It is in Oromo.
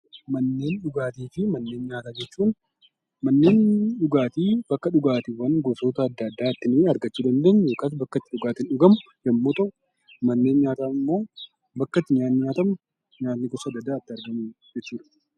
Manneen dhugaatii fi nyaataa jechuun, manneen dhugaatii bakka dhugaatiiwwan gosa garaagaraa itti argachuu dandeenyu yookiin bakka dhugaatiin itti dhugamu yemmuu ta'u, manneen nyaataa immoo bakka itti nyaanni nyaatamu nyaanni gosa addaa addaa jechuudha.